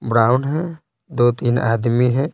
Brown है दो-तीन आदमी हैं।